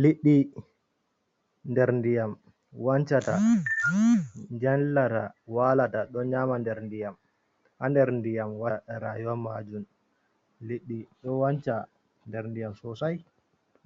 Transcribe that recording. Liɗɗi. Ɗer nɗiyam wancata, janlata, walata ɗon nyama nɗer nɗiyam. Ha nɗer nɗiyam waɗata rayuwan majun. Liɗɗi ɗo wanca nɗer nɗiyam sosai,